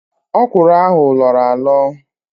Ókwụ̀rụ̀ ahụ lọọrọ alọ